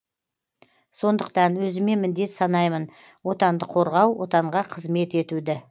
сондықтан өзіме міндет санаймын отанды қорғау отанға қызмет етуді